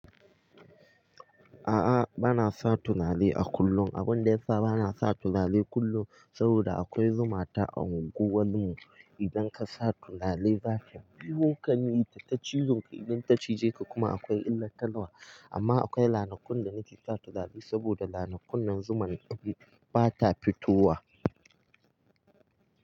A'a bana sa tunare a kullum. Abun da yasa bana sa tunare kullum saboda akwai zuma ta anguwar mu. Idan ka sa tunare za ta biyo ka yi ta ci zun ka. Idan ta cije ka kuma akwai illar talwa. Amma akwai lanakun da nake sa tunare saboda lanakun nan zumar ta ba ta fitowa.